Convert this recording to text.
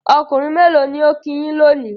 Ọkùnrin mélò ni ó kí yín lónìí?